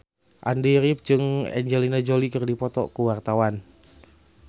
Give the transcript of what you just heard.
Andy rif jeung Angelina Jolie keur dipoto ku wartawan